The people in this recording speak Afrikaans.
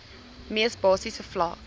mees basiese vlak